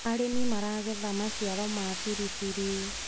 arĩmi maragetha maciaro ma biribiri